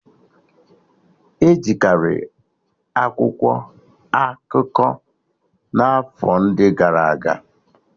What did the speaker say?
Ejikari akwụkwọ akụkọ n'afọ ndị gara aga